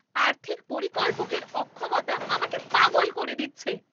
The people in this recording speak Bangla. আর্থিক পরিকল্পকের অক্ষমতা আমাকে পাগল করে দিচ্ছে!